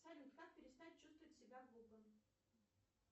салют как перестать чувствовать себя глупым